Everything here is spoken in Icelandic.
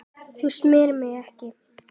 Þú smyrð mig ekki.